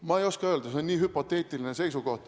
Ma ei oska öelda, see on nii hüpoteetiline väide.